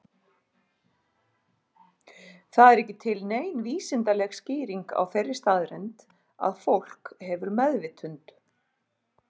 Það er ekki til nein vísindaleg skýring á þeirri staðreynd að fólk hefur meðvitund.